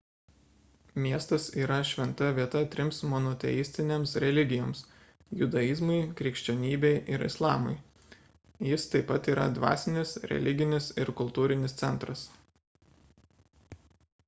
miestas yra šventa vieta trims monoteistinėms religijoms – judaizmui krikščionybei ir islamui jis taip pat yra dvasinis religinis ir kultūrinis centras